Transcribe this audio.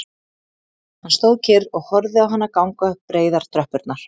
Hann stóð kyrr og horfði á hana ganga upp breiðar tröppurnar